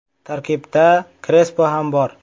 Tarkibda Krespo ham bor.